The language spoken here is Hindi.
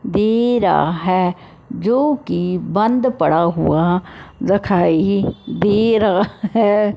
दे रहा है जो कि बंद पड़ा हुआ रखाई दे रहा है।